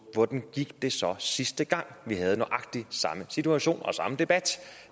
hvordan det så sidste gang vi havde nøjagtig samme situation og samme debat